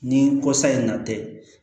Ni ko sa in na tɛ